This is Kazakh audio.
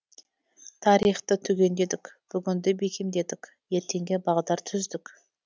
тарихты түгендедік бүгінді бекемдедік ертеңге бағдар түздік